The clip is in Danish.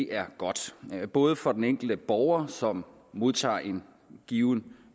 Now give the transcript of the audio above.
er godt både for den enkelte borger som modtager en given